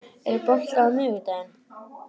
Tindar, er bolti á miðvikudaginn?